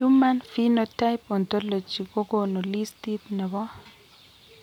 Human phenotype ontology kogonu listit nebo